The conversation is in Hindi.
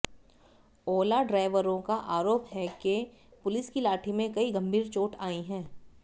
ओला ड्राइवरों का आरोप है के पुलिस की लाठी में कई गंभीर चोट आई है